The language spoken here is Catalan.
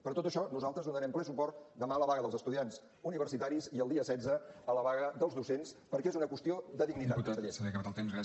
per tot això nosaltres donarem ple suport demà a la vaga dels estudiants universitaris i el dia setze a la vaga dels docents perquè és una qüestió de dignitat conseller